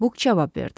Bu cavab verdi.